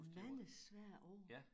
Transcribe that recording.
Mange svære ord